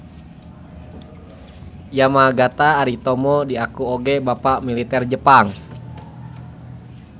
Yamagata Aritomo diaku oge bapak militer Jepang.